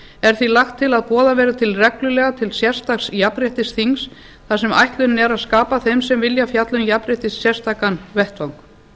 er því lagt til að boðað verði reglulega til sérstaks jafnréttisþings þar sem ætlunin er að skapa þeim sem vilja fjalla um jafnrétti sérstakan vettvang